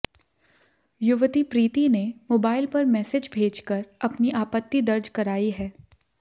युवती प्रीति ने मोबाइल पर मैसेज भेजकर अपनी आपत्ति दर्ज कराई है